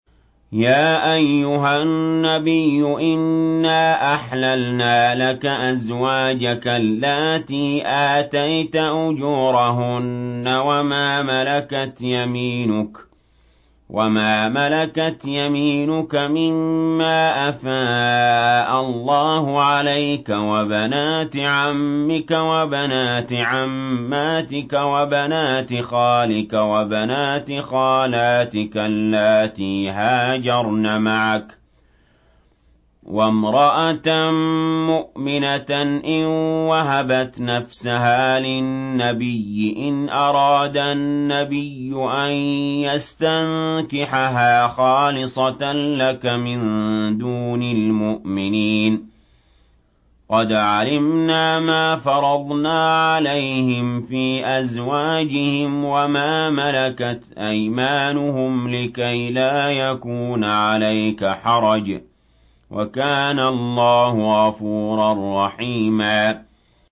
يَا أَيُّهَا النَّبِيُّ إِنَّا أَحْلَلْنَا لَكَ أَزْوَاجَكَ اللَّاتِي آتَيْتَ أُجُورَهُنَّ وَمَا مَلَكَتْ يَمِينُكَ مِمَّا أَفَاءَ اللَّهُ عَلَيْكَ وَبَنَاتِ عَمِّكَ وَبَنَاتِ عَمَّاتِكَ وَبَنَاتِ خَالِكَ وَبَنَاتِ خَالَاتِكَ اللَّاتِي هَاجَرْنَ مَعَكَ وَامْرَأَةً مُّؤْمِنَةً إِن وَهَبَتْ نَفْسَهَا لِلنَّبِيِّ إِنْ أَرَادَ النَّبِيُّ أَن يَسْتَنكِحَهَا خَالِصَةً لَّكَ مِن دُونِ الْمُؤْمِنِينَ ۗ قَدْ عَلِمْنَا مَا فَرَضْنَا عَلَيْهِمْ فِي أَزْوَاجِهِمْ وَمَا مَلَكَتْ أَيْمَانُهُمْ لِكَيْلَا يَكُونَ عَلَيْكَ حَرَجٌ ۗ وَكَانَ اللَّهُ غَفُورًا رَّحِيمًا